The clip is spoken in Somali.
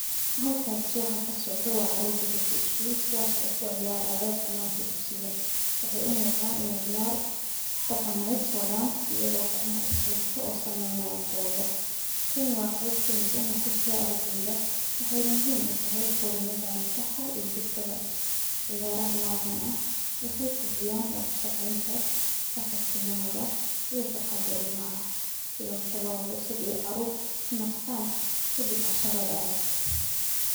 Halkaas waxa kasocdo waa caruur digato iskuul oo kuciyaara bananka dugsiga kuwaa oo umuqda inaay ciyaar daqameed wadaan, waxeey muhiim utahay ardeyda, ciyaraha nocan ah waxeey kordiyan wada shaqeenta, iyo maskaxda caruurta, waa nasiina ardeyda kadib casharada adag.